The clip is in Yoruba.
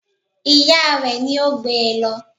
Ìya rẹ̀ ni ó gbé e lọ